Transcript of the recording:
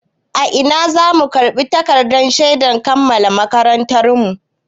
A ina za mu karɓi takardar shedar kammala makarantarmu?